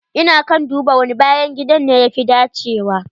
Ina kan duba wani bayan gidan ne ya fi dacewa.